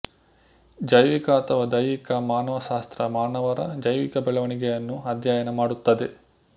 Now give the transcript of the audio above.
ಜೈವಿಕ ಅಥವಾ ದೈಹಿಕ ಮಾನವಶಾಸ್ತ್ರ ಮಾನವರ ಜೈವಿಕ ಬೆಳವಣಿಗೆಯನ್ನು ಅಧ್ಯಯನ ಮಾಡುತ್ತದೆ